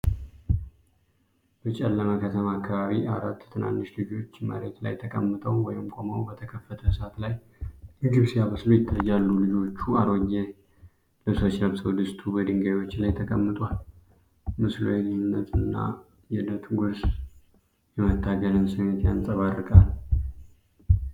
በጨለመ ከተማ አከባቢ፣ አራት ትናንሽ ልጆች መሬት ላይ ተቀምጠው/ቆመው በተከፈተ እሳት ላይ ምግብ ሲያበስሉ ይታያል። ልጆቹ አሮጌ ልብሶች ለብሰው፣ ድስቱ በድንጋዮች ላይ ተቀምጧል። ምስሉ የድህነትን እና ለዕለት ጉርስ የመታገልን ስሜት ያንጸባርቃል።